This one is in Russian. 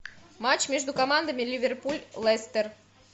матч между командами ливерпуль лестер